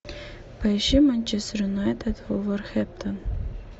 поищи манчестер юнайтед вулверхэмптон